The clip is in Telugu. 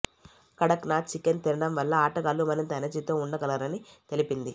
కడక్ నాథ్ చికెన్ తినడం వల్ల ఆటగాళ్లు మరింత ఎనర్జీతో ఉండగలరని తెలిపింది